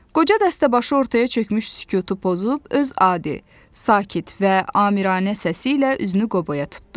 Qoca dəstəbaşı ortaya çökmüş sükutu pozub öz adi, sakit və amiranə səsi ilə üzünü Qoboya tutdu.